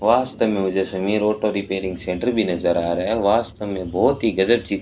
वास्तव में मुझे समीर ऑटो रिपेयरिंग सेंटर भी नजर आ रहा है वास्तव में बहोत ही गजब ची--